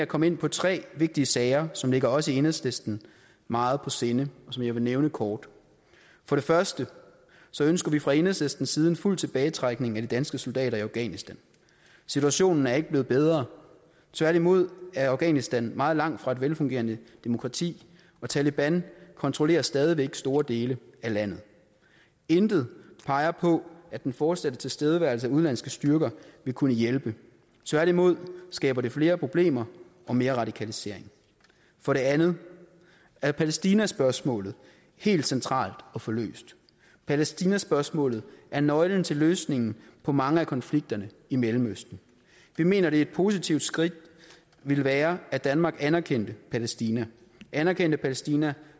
komme ind på tre vigtige sager som ligger os i enhedslisten meget på sinde og som jeg vil nævne kort for det første ønsker vi fra enhedslistens side en fuld tilbagetrækning af de danske soldater i afghanistan situationen er ikke blevet bedre tværtimod er afghanistan meget langt fra et velfungerende demokrati og taleban kontrollerer stadig væk store dele af landet intet peger på at den fortsatte tilstedeværelse af udenlandske styrker vil kunne hjælpe tværtimod skaber det flere problemer og mere radikalisering for det andet er palæstinaspørgsmålet helt centralt at få løst palæstinaspørgsmålet er nøglen til løsningen på mange af konflikterne i mellemøsten vi mener et positivt skridt ville være at danmark anerkendte palæstina anerkendte palæstina